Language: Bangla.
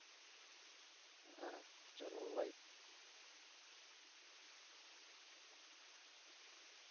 হ্যাঁ চলো bye